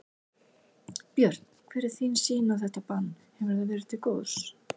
Björn: Hver er þín sýn á þetta bann, hefur það verið til góðs?